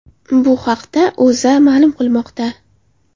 Bu haqda O‘zA ma’lum qilmoqda .